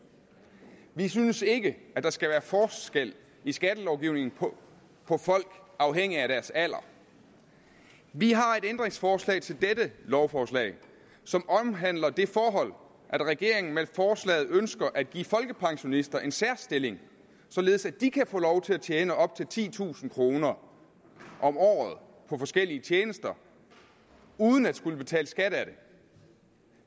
vi synes ikke at der skal være forskel i skattelovgivningen på folk afhængigt af deres alder vi har et ændringsforslag til dette lovforslag som omhandler det forhold at regeringen med forslaget ønsker at give folkepensionister en særstilling således at de kan få lov til at tjene op til titusind kroner om året på forskellige tjenester uden at skulle betale skat af det